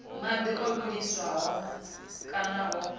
madi o vhiliswaho kana o